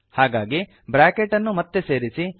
ಹಾಗಾಗಿ ಬ್ರಾಕೆಟ್ ಅನ್ನು ಮತ್ತೆ ಸೇರಿಸಿ